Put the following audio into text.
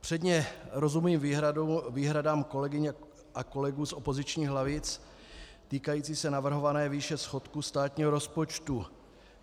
Předně rozumím výhradám kolegyň a kolegů z opozičních lavic týkajícím se navrhované výše schodku státního rozpočtu.